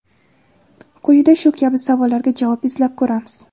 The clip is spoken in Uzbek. Quyida shu kabi savollarga javob izlab ko‘ramiz.